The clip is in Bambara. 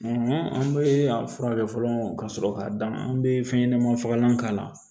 an bɛ a furakɛ fɔlɔ ka sɔrɔ k'a d'a ma an bɛ fɛn ɲɛnama fagalan k'a la